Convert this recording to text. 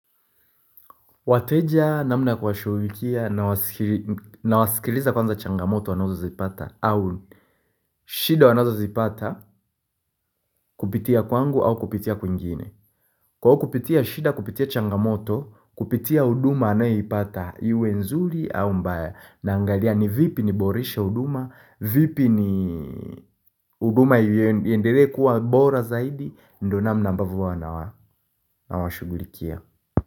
Wateja namna ya kuwashughulikia nawasikiliza kwanza changamoto wanazozipata au shida wanazozipata kupitia kwangu au kupitia kwingine. Kwao kupitia shida kupitia changamoto, kupitia huduma anayopata, iwe nzuri au mbaya naangalia ni vipi niborishe huduma, vipi ni huduma iendelee kuwa bora zaidi, ndo namna ambavyo huwa nawa nawashughulikia.